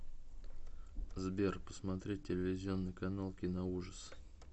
сбер посмотреть телевизионный канал киноужас